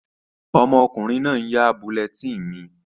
Ọmọkùnrin náà n yá bulletin mi